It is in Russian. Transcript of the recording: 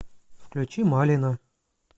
включи малино